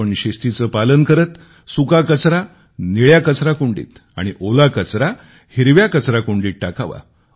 आपण शिस्तीचे पालन करीत सुका कचरा निळ्या कचराकुंडीत आणि ओला कचरा हिरव्या कचराकुंडीत टाकावा